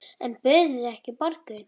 En buðuð þið ekki borgun?